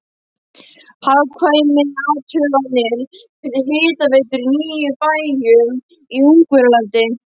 Hagkvæmniathuganir fyrir hitaveitur í níu bæjum í Ungverjalandi.